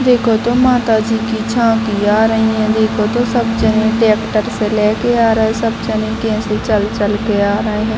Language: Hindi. देखो तो माता जी की झांकी आ रही है | देखो तो सब जन ट्रैक्टर से लेके आ रहे हैं | सब जने कैसे चल चल के आ रहे हैं ।